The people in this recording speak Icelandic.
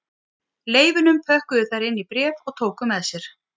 Leifunum pökkuðu þær inn í bréf og tóku með sér